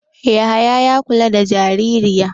Yahaya yana kula da jaririya.